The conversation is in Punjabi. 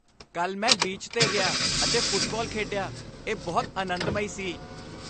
ਕੱਲ੍ਹ ਮੈਂ ਬੀਚ 'ਤੇ ਗਿਆ ਅਤੇ ਫੁੱਟਬਾਲ ਖੇਡਿਆ ਇਹ ਬਹੁਤ ਅਨੰਦਮਈ ਸੀ